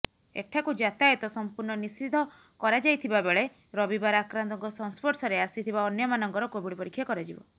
ଏଠାକୁ ଯାତାୟାତ ସମ୍ପୂର୍ଣ୍ଣ ନିଷିଦ୍ଧ କରାଯାଇଥିବାବେଳେ ରବିବାର ଆକ୍ରାନ୍ତଙ୍କ ସଂସ୍ପର୍ଷରେ ଆସିଥିବା ଅନ୍ୟମାନଙ୍କର କୋଭିଡ୍ ପରୀକ୍ଷା କରାଯିବ